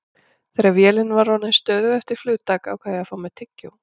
Þegar vélin var orðin stöðug eftir flugtak ákvað ég að fá mér tyggjó.